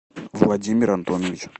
владимир антонович